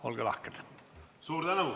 Olge lahked!